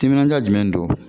Timinaja jumɛn don